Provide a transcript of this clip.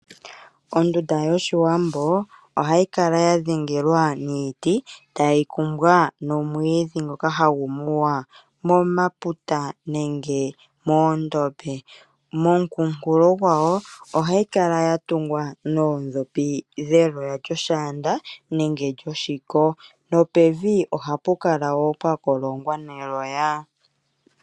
Ondunda yOshiwambo ohayi kala ya dhengelwa niiti, tayi kumbwa nomwiidhi ngoka hagu muya momaputa nenge moondombe. Moonkunkulu gwawo ohayi kala ya tungwa noondhopi dheloya lyoshaanda nenge lyoshiko, nopevi ohapu kala wo pwa kolongwa neloya.